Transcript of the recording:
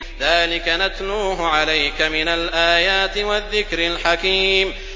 ذَٰلِكَ نَتْلُوهُ عَلَيْكَ مِنَ الْآيَاتِ وَالذِّكْرِ الْحَكِيمِ